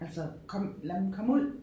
Altså kom lad dem komme ud